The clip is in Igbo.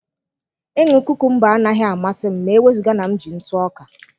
Ịṅụ kukumba anaghị amasị m ma e wezụga na m ji ntụ ọka.